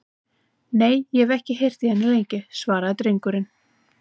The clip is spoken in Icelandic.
Nei, og ég hef ekki heyrt í henni lengi, sagði drengurinn.